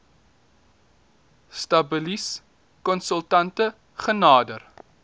stabilis konsultante genader